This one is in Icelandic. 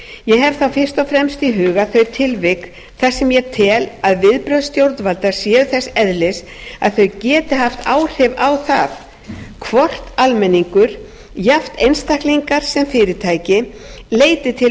ég hef þá fyrst og fremst í huga þau tilvik þar sem ég tel að viðbrögð stjórnvalda séu þess eðlis að þau geti haft áhrif á það hvort almenningur jafnt einstaklingar sem fyrirtæki leiti til